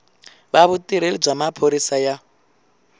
va vutirheli bya maphorisa ya